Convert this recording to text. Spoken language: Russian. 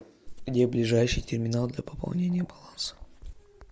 где ближайший терминал для пополнения баланса